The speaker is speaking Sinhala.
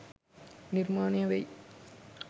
නිර්මාණය වෙයි.